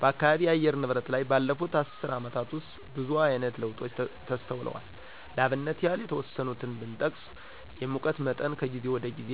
በአካባቢ የአየር ንብረት ላይ ባለፉት አስር አመታት ውስጥ ብዙአይነት ለውጦች ተስተውለዋል ለአብነት ያህል የተወሰኑትን ብጠቅስ የሙቀት መጠን ከጊዜ ወደጊዜ